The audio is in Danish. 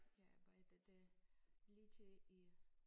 Jeg arbejdede lidt i